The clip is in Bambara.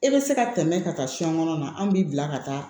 E bɛ se ka tɛmɛ ka taa fɛn kɔnɔna na an b'i bila ka taa